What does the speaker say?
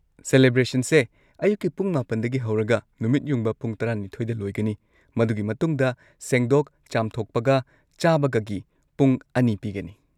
ꯁꯦꯂꯦꯕ꯭ꯔꯦꯁꯟꯁꯦ ꯑꯌꯨꯛꯀꯤ ꯄꯨꯡ ꯹ꯗꯒꯤ ꯍꯧꯔꯒ ꯅꯨꯃꯤꯠ ꯌꯨꯡꯕ ꯄꯨꯡ ꯱꯲ꯗ ꯂꯣꯏꯒꯅꯤ, ꯃꯗꯨꯒꯤ ꯃꯇꯨꯡꯗ ꯁꯦꯡꯗꯣꯛ ꯆꯥꯝꯊꯣꯛꯄꯒ ꯆꯥꯕꯒꯒꯤ ꯄꯨꯡ ꯑꯅꯤ ꯄꯤꯒꯅꯤ꯫